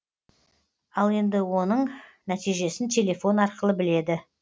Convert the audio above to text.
ал енді оның нәтижесін телефон арқылы біледі